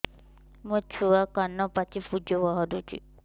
ମୋ ଛୁଆ କାନ ପାଚି ପୂଜ ବାହାରୁଚି